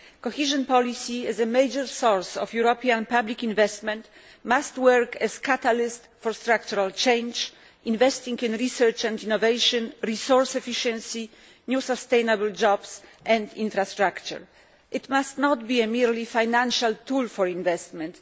Cohesion policy is a major source of European public investment and must work as a catalyst for structural change by investing in research and innovation, resource efficiency, new and sustainable jobs and infrastructure. It must not merely be a financial tool for investment.